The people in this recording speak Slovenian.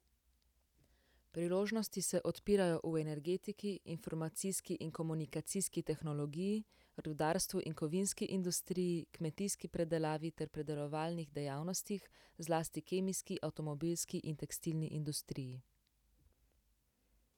Priložnosti se odpirajo v energetiki, informacijski in komunikacijski tehnologi, rudarstvu in kovinski industriji, kmetijski predelavi ter predelovalnih dejavnostih, zlasti kemijski, avtomobilski in tekstilni industriji.